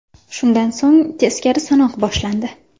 Shundan so‘ng teskari sanoq boshlandi.